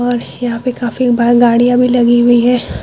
और यहाँ पे काफी बा गाड़ियाँ भी लगी हुई है।